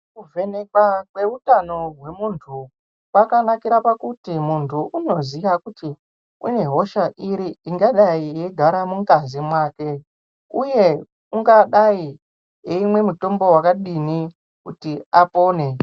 Kuvhenekwa kweutano hwemuntu kwakanakira kuti muntu une hosha iri ingadai yeigara mungazi mwake uye ungadai eimwa mutombo wakadini kuti apone.